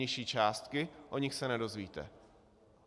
Nižší částky - o nich se nedozvíte.